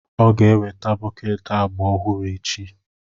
Ọ ga-eweta bọket agba ọhụrụ echi.